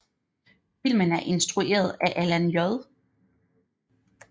Filmen er instrueret af Alan J